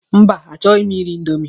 Mba, a chọghi m iri indomi.